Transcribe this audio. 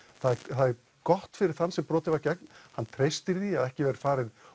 það er gott fyrir þann sem brotið var gegn hann treystir því að ekki verði farið